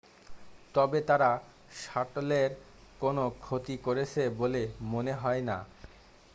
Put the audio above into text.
তবে তারা শাটলের কোন ক্ষতি করেছে বলে মনে হয় না